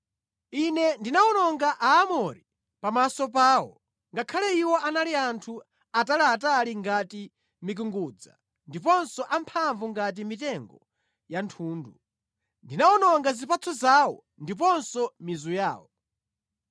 “Ine ndinawononga Aamori pamaso pawo, ngakhale iwo anali anthu ataliatali ngati mikungudza ndiponso amphamvu ngati mitengo ya thundu. Ndinawononga zipatso zawo ndiponso mizu yawo.